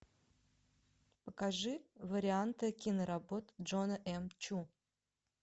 покажи варианты киноработы джона м чу